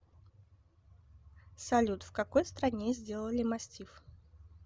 салют в какой стране сделали мастиф